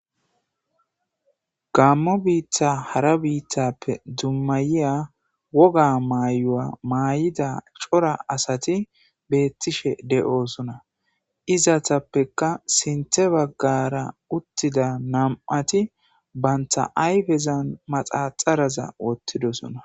Gammo biitta hara biittappe dummayiya woga maayu'a maay'ida cora asati beettishe de'osona izatappekka sinte baggara uttida nam'ati banta ayfezan maxaxaraza wottidosona.